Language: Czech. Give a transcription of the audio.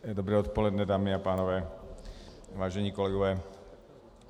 Dobré odpoledne, dámy a pánové, vážení kolegové.